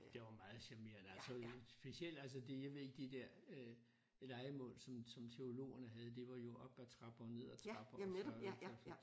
Der var meget charmerende altså specielt altså det jeg ved ikke de der lejemål som som teologerne havde det var jo op ad trapper ned ad trapper og så